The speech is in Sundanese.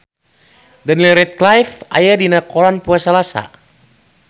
Daniel Radcliffe aya dina koran poe Salasa